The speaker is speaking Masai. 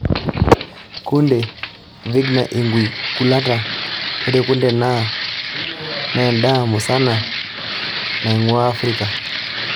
Kunde (Vigna unguiculata):Ore kunde naa nendaa musana nainguaa Afirika.